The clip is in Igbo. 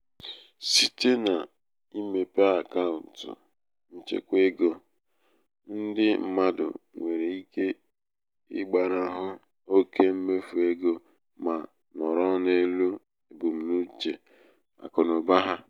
site n'imepe akaụtụ nchekwa ego ndị mmadụ nwere ike ịgbanahụ oke mmefu ego ma nọrọ n'elu ebumnuche akụnaụba ha. ebumnuche akụnaụba ha.